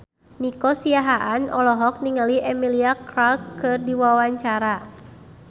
Nico Siahaan olohok ningali Emilia Clarke keur diwawancara